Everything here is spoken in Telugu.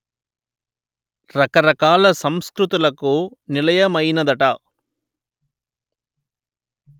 రకరకాల సంస్కృతులకు నిలయమయ్యినదట